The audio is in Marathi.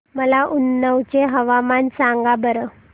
मला उन्नाव चे हवामान सांगा बरं